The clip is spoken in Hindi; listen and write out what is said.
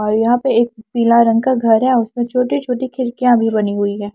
और यहां पे एक पीला रंग का घर है और उसमें छोटी-छोटी खिरकियां भी बनी हुई है।